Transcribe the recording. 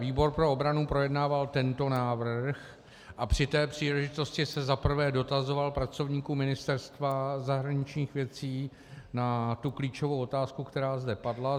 Výbor pro obranu projednával tento návrh a při té příležitosti se za prvé dotazoval pracovníků Ministerstva zahraničních věcí na tu klíčovou otázku, která zde padla.